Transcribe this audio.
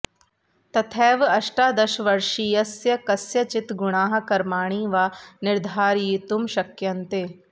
तथैव अष्टादशवर्षीयस्य कस्यचित् गुणाः कर्माणि वा निर्धारयितुं शक्यन्ते